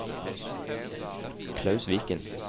Klaus Viken